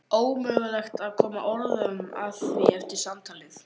Ómögulegt að koma orðum að því eftir samtalið.